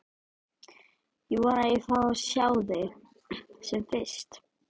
Ég vona að ég fái að sjá þig sem fyrst.